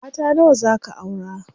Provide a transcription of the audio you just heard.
Mata nawa zaa ka aura?